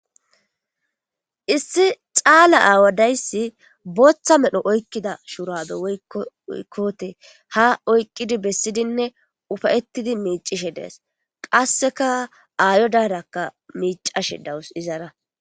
Issi cala aawa dayisi botha medho oykida shurabe woyko kote ha oykidi besidinne ufayetidi micishe des qasekka aayodarakka micashe dawusu Izara